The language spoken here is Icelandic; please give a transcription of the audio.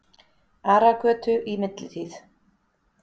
Aragötu í millitíð.